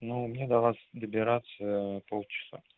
ну мне до вас добираться полчаса